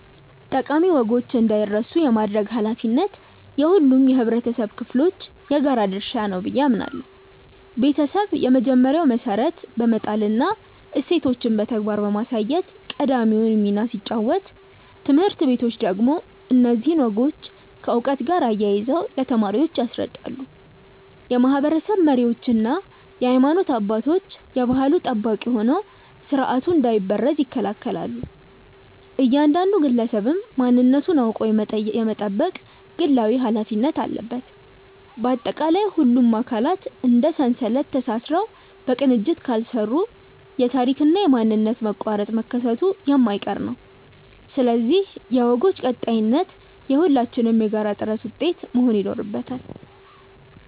ጠቃሚ ወጎች እንዳይረሱ የማድረግ ኃላፊነት የሁሉም የኅብረተሰብ ክፍሎች የጋራ ድርሻ ነው ብዬ አምናለሁ። ቤተሰብ የመጀመሪያውን መሠረት በመጣልና እሴቶችን በተግባር በማሳየት ቀዳሚውን ሚና ሲጫወት፣ ትምህርት ቤቶች ደግሞ እነዚህን ወጎች ከዕውቀት ጋር አያይዘው ለተማሪዎች ያስረዳሉ። የማኅበረሰብ መሪዎችና የሃይማኖት አባቶች የባሕሉ ጠባቂ ሆነው ሥርዓቱ እንዳይበረዝ ይከላከላሉ፤ እያንዳንዱ ግለሰብም ማንነቱን አውቆ የመጠበቅ ግላዊ ኃላፊነት አለበት። ባጠቃላይ፣ ሁሉም አካላት እንደ ሰንሰለት ተሳስረው በቅንጅት ካልሠሩ የታሪክና የማንነት መቋረጥ መከሰቱ የማይቀር ነው፤ ስለዚህ የወጎች ቀጣይነት የሁላችንም የጋራ ጥረት ውጤት መሆን ይኖርበታል።